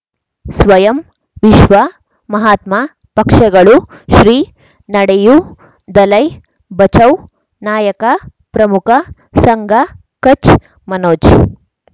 ಸ್ವಯಂ ವಿಶ್ವ ಮಹಾತ್ಮ ಪಕ್ಷಗಳು ಶ್ರೀ ನಡೆಯೂ ದಲೈ ಬಚೌ ನಾಯಕ ಪ್ರಮುಖ ಸಂಘ ಕಚ್ ಮನೋಜ್